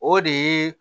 O de ye